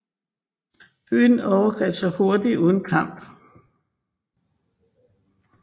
Byen overgav sig hurtigt uden kamp